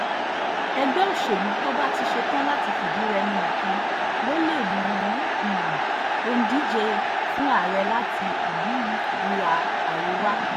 ẹgbẹ́ òṣèlú tó bá ti ṣẹ̀tàn láti fìdí-rẹmi nìkan ló lè mú um òǹdíje fún ààrẹ láti um ìhà àríwá